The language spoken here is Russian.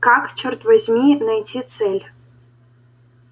как чёрт возьми найти цель